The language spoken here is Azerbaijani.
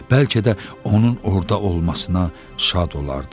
Bəlkə də onun orda olmasına şad olardı.